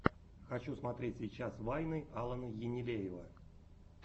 хочу смотреть сейчас вайны алана енилеева